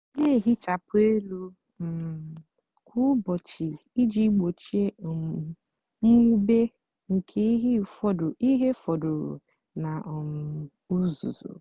nà-èhichapụ élú um kwá úbọchị íjì gbochie um mwube nkè íhè fọdụrụ nà um uzuzu.